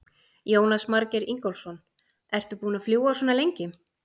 Jónas Margeir Ingólfsson: Ertu búin að fljúga svona lengi?